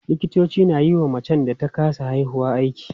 Likitoci na yiwa macen da ta kasa haihuwa aiki.